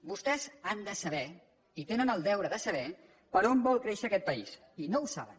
vostès han de saber i tenen el deure de saber per on vol créixer aquest país i no ho saben